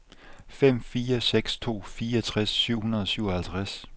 fem fire seks to fireogtres syv hundrede og syvoghalvtreds